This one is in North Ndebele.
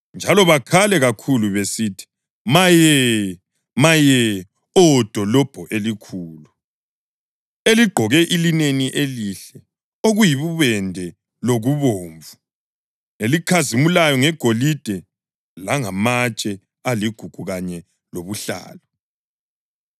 njalo bakhale kakhulu besithi: “Maye! Maye, Oh dolobho elikhulu, eligqoke ilineni elihle, okuyibubende lokubomvu, elikhazimulayo ngegolide langamatshe aligugu kanye lobuhlalu!